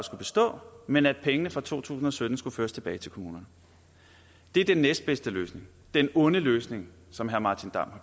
skulle bestå men at pengene for to tusind og sytten skulle føres tilbage til kommunerne det er den næstbedste løsning den onde løsning som herre martin damm